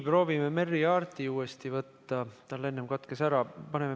Proovime Merry Aartiga uuesti ühendust võtta, tal enne katkes.